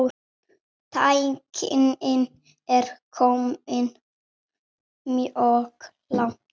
Tæknin er komin mjög langt.